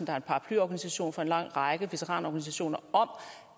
er en paraplyorganisation for en lang række veteranorganisationer